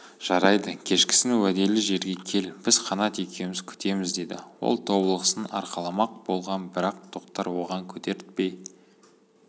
жарайды кешкісін уәделі жерге кел біз қанат екеуміз күтеміз деді ол тобылғысын арқаламақ болған бірақ тоқтар оған көтертпей